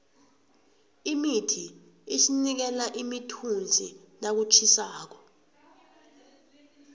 imithi isinikela imithunzi nakutjhisako